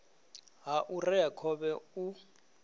ha u rea khovhe u